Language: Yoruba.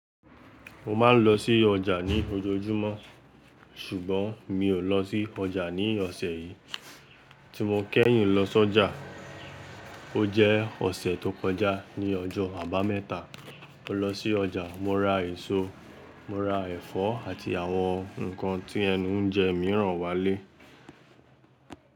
Mo ma n lọ sí ọjà ní ojoojúmọ́ ṣùgbọ́n mi ò lọ sí ọjà ní ọ̀sẹ̀ yìí. Tí mo kẹ́yìn lọ sí ọjà ó jẹ́ ọ̀sẹ̀ tó kọjá ní ọjọ́ àbámẹ́ta. Mo lọ sí ọjà, mo ra èso, mo ra ẹ̀fọ́ àti àwọn ǹkan tí ẹnu ń jẹ mìíràn wálé.